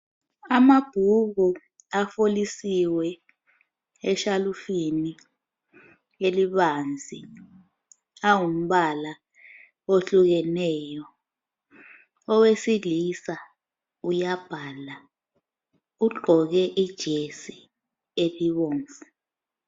Amabhuku afolisiwe eshalufini elibanzi ,angumbala ohlukeneyo .Owesilisa uyabhala ugqoke ijesi elibomvu.